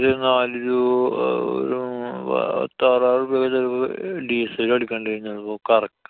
നാലു രൂ~ അഹ് ഒരു പ~ത്താറായിരം ഉറുപ്യ വീതം അഹ് diesel അടിക്കണ്ടെരും ചെലപ്പൊ കറ~